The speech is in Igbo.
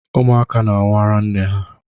Ụmụaka na-anwụ araa nne ha.